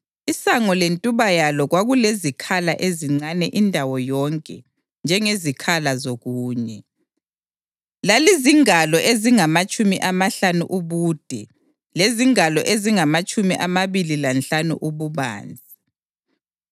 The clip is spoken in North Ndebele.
Isango lentuba yalo kwakulezikhala ezincane indawo yonke njengezikhala zokunye. Lalizingalo ezingamatshumi amahlanu ubude lezingalo ezingamatshumi amabili lanhlanu ububanzi.